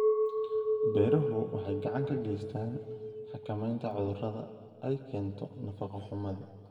Beeruhu waxay gacan ka geystaan ??xakamaynta cudurrada ay keento nafaqo-xumada.